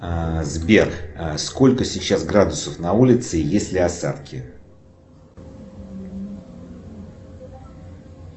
сбер сколько сейчас градусов на улице и есть ли осадки